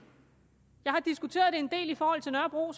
jeg har selvfølgelig diskuteret det en del i forhold til nørrebro